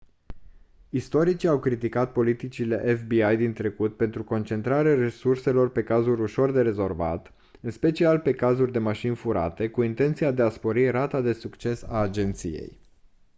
istoricii au criticat politicile fbi din trecut pentru concentrarea resurselor pe cazuri ușor de rezolvat în special pe cazuri de mașini furate cu intenția de a spori rata de succes a agenției